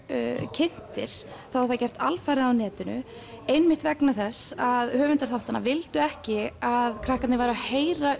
kynntir var það gert algjörlega á netinu einmitt vegna þess að höfundar þáttanna vildu ekki að krakkarnir væru að heyra